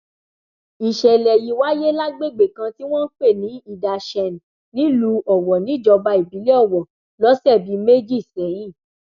ìṣẹlẹ yìí wáyé lágbègbè kan tí wọn ń pè ní idashen nílùú owó níjọba ìbílẹ owó lọsẹ bíi méjì sẹyìn